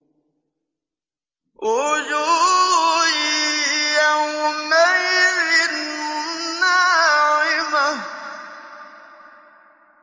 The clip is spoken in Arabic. وُجُوهٌ يَوْمَئِذٍ نَّاعِمَةٌ